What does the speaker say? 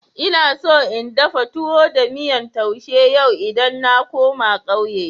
Ina so in dafa towo da miyan tousha yau idan na koma ƙauye.